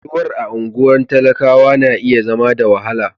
Rayuwar a anguwan talakawa na iya zama da wahala.